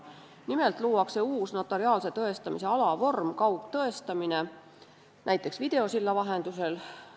Nimelt luuakse uus notariaalse tõestamise alavorm, kaugtõestamine näiteks videosilla vahendusel.